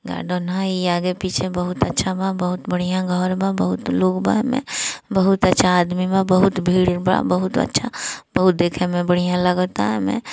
Garden हाई ई आगे-पीछे बहुत अच्छा बा बहुत बढ़िया घर बा बहुत लोग बा ईमे बहुत अच्छा आदमी बा बहुत भीड़ बा बहुत अच्छा बहुत देखे में बढ़िया लागता एमे।